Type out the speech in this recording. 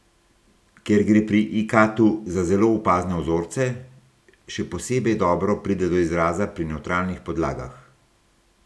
Ker gre pri ikatu za zelo opazne vzorce, še posebej dobro pride do izraza pri nevtralnih podlagah.